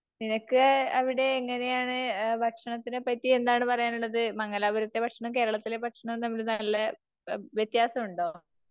നിനക്ക് അവിടെ എങ്ങനെയാണ്? ഭക്ഷണത്തിനെ പറ്റി എന്താണ് പറയാനുള്ളത്? മംഗലാപുരത്തെ ഭക്ഷണവും കേരളത്തിലെ ഭക്ഷണവും തമ്മിൽ നല്ല വ്യത്യാസമുണ്ടോ?